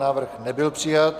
Návrh nebyl přijat.